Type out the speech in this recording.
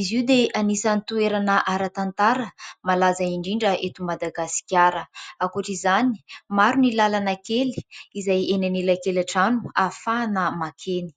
Izy io dia anisany toerana ara-tantara malaza indrindra eto Madagasikara, ankoatr'izany maro ny lalana kely izay eny anelankelan-trano ahafahana makeny.